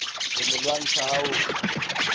ho mo lwantsha ha ho